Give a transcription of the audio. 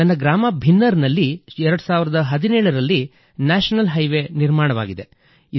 ನನ್ನ ಗ್ರಾಮ ಭಿನ್ನರ್ ನಲ್ಲಿ 2017 ರಲ್ಲಿ ನ್ಯಾಷನಲ್ ಹೈವೇ ನಿರ್ಮಾಣವಾಗಿದೆ